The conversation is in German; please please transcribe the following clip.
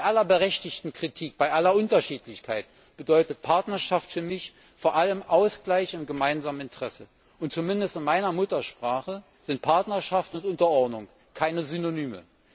Bei aller berechtigten Kritik, bei aller Unterschiedlichkeit bedeutet Partnerschaft für mich vor allem Ausgleich im gemeinsamen Interesse, und zumindest in meiner Muttersprache sind Partnerschaft und Unterordnung keine Synonyme.